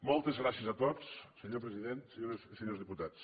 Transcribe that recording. moltes gràcies a tots senyor president senyores i senyors diputats